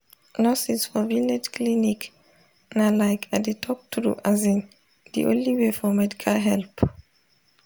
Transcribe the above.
nurses for village clinic na like i dey talk true asin de only way for medical help.